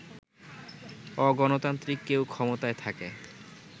অগণতান্ত্রিক কেউ ক্ষমতায় থাকে